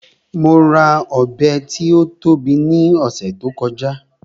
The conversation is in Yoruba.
Mo ra Ọ̀bẹ tí ó tóbi ní ọ̀sẹ̀ tí ó kọjá